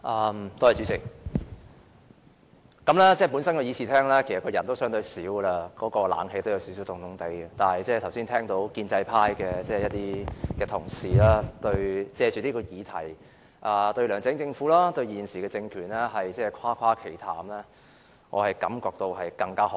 本來議事廳的人數已相對少，空調也加添寒意，但剛才聽到一些建制派同事藉此議題，對梁振英政府和現時政權誇誇其談，我更覺心寒。